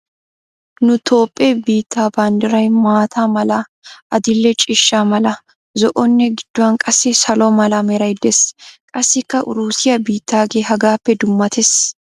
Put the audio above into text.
Nu tophphe biitte banddiray maata mala, adil'e ciishsha mala, zo"onne gidduwan qassi salo mala meray des. Qassikka uruusiya bittaagee hagaappe dummates.